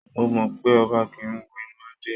Mo mọ pé ọba kì í wo inú adé